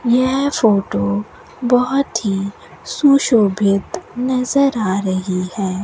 यह फोटो बहुत ही सुशोभित नजर आ रही है।